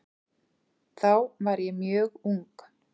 Þá var ég mjög ung.